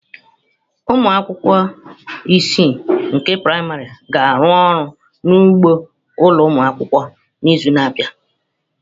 Ụmụ akwụkwọ isii nke praịmarị ga-arụ ọrụ n'ugbo ụlọ akwụkwọ n'izu na-abịa